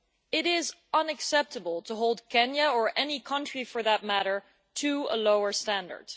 It is unacceptable to hold Kenya, or any country for that matter, to a lower standard.